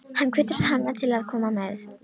Hann hvetur hana til að koma með.